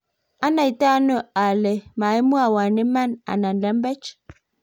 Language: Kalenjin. anaitaone ile maimwowo iman anan lembech?